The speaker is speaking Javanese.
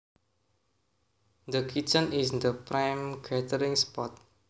The kitchen is the prime gathering spot